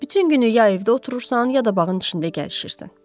Bütün günü ya evdə oturursan, ya da bağın içində gəzişirsən.